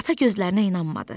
Ata gözlərinə inanmadı.